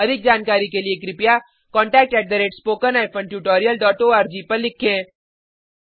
अधिक जानकारी के लिए कृपयाcontact at spoken hyphen tutorial dot ORG पर लिखें